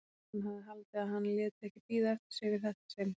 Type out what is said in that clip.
Hann hefði haldið að hann léti ekki bíða eftir sér í þetta sinn.